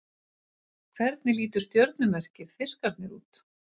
Hvernig lítur stjörnumerkið Fiskarnir út?